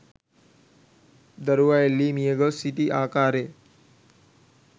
දරුවා එල්ලී මියගොස් සිටි ආකාරය